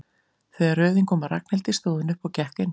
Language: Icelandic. Þegar röðin kom að Ragnhildi stóð hún upp og gekk inn.